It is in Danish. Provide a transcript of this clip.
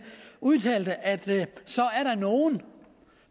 udtaler at der er nogle